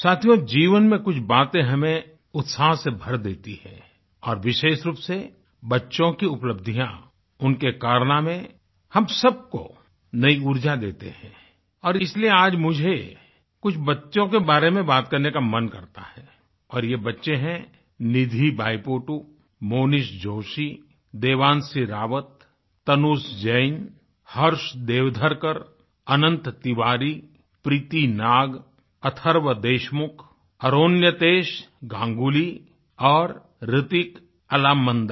साथियो जीवन में कुछ बातें हमें उत्साह से भर देती हैं और विशेष रूप से बच्चों की उपलब्धियां उनके कारनामेहम सबको नई ऊर्जा देते हैं और इसलिए आज मुझे कुछ बच्चों के बारे में बात करने का मन करता है और ये बच्चे हैं निधि बाईपोटु मोनीष जोशी देवांशी रावत तनुष जैन हर्ष देवधरकर अनंत तिवारी प्रीति नाग अथर्व देशमुख अरोन्यतेश गांगुली और हृतिक अलामंदा